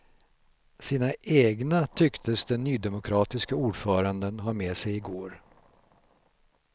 Sina egna tycktes den nydemokratiske ordföranden ha med sig i går.